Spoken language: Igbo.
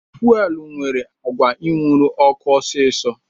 Fuelu nwere agwa inwuru ọkụ ọsisi